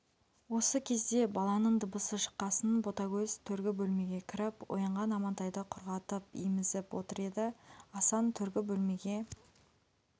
осы кезде баланың дыбысы шыққасын ботагөз төргі бөлмеге кіріп оянған амантайды құрғатып емізіп отыр еді асан төргі бөлмеге